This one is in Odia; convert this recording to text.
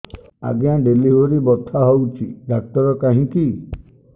ଆଜ୍ଞା ଡେଲିଭରି ବଥା ହଉଚି ଡାକ୍ତର କାହିଁ କି